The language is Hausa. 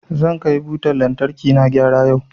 Zan kai butan lantarkina gyara yau.